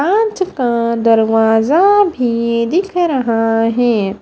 कांच का दरवाज़ा भी दिख रहा है।